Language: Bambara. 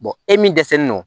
e min dɛsɛlen don